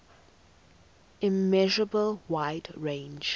immeasurable wide range